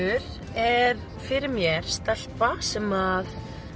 er fyrir mér stelpa sem